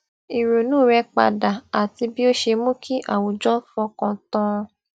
ìrònú rẹ padà àti bí ó ṣe mú kí àwùjọ fọkàn tán an